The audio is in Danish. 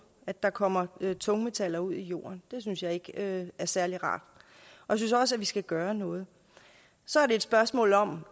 at der kommer tungmetaller ud i jorden det synes jeg ikke er særlig rart jeg synes også vi skal gøre noget så er det et spørgsmål om